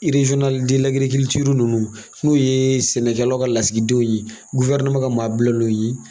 ninnu n'o ye sɛnɛkɛlaw ka lasigidenw ye, ka maa bilalenw ye